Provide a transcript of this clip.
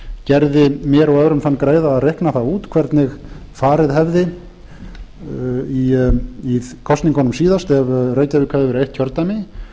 gerði mér og öðrum þann greiða að reikna það út hvernig farið hefði í kosningunum síðast ef reykjavík hefði verið eitt kjördæmi